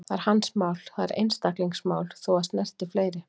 Það er hans mál, það er einstaklingsmál, þó að það snerti fleiri.